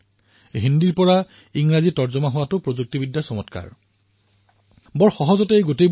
যেতিয়াই মই হিন্দীত কথা কৈছিলো তেতিয়া তেওঁ ইংৰাজীত শুনা পাইছিল আৰু সেইবাবে যোগাযোগ সহজে কৰিব পাৰিছিলো আৰু এয়া প্ৰযুক্তিৰ কৌশল